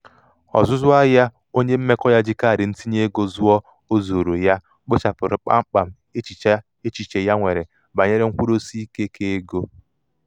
um ọzụzụ ọzụzụ ahịa onye mmekọ ya ji kaadị ntinyeego zụọ o zooro um ya kpochapụrụ kpamkpam echiche ha nwere banyere nkwụdosiike keego.